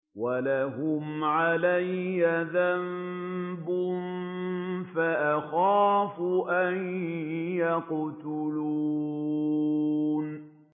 وَلَهُمْ عَلَيَّ ذَنبٌ فَأَخَافُ أَن يَقْتُلُونِ